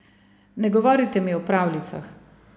Ne govorite mi o pravljicah.